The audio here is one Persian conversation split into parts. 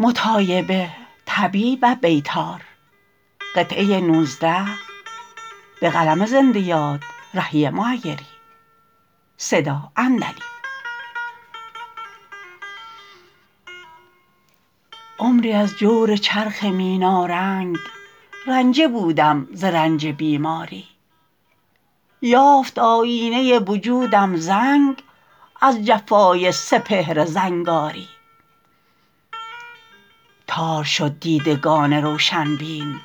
عمری از جور چرخ مینارنگ رنجه بودم ز رنج بیماری یافت آیینه وجودم زنگ از جفای سپهر زنگاری تار شد دیدگان روشن بین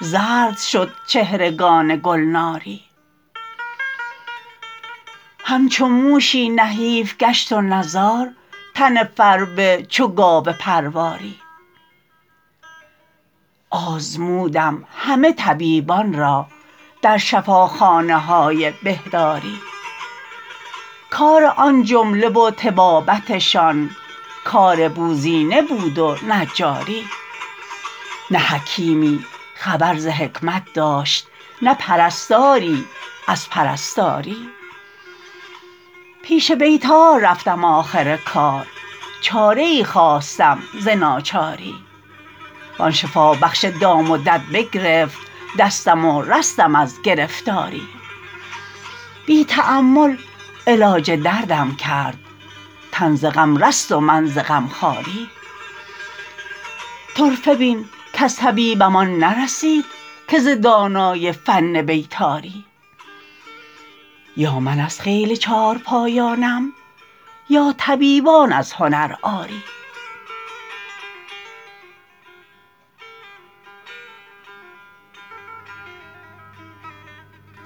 زرد شد چهرگان گلناری همچو موشی نحیف گشت و نزار تن فربه چو گاو پرواری آزمودم همه طبیبان را در شفاخانه های بهداری کار آن جمله و طبابتشان کار بوزینه بود و نجاری نه حکیمی خبر ز حکمت داشت نه پرستاری از پرستاری پیش بیطار رفتم آخر کار چاره ای خواستم ز ناچاری وآن شفابخش دام و دد بگرفت دستم و رستم از گرفتاری بی تأمل علاج دردم کرد تن ز غم رست و من ز غمخواری طرفه بین کز طبیبم آن نرسید که ز دانای فن بیطاری یا من از خیل چارپایانم یا طبیبان از هنر عاری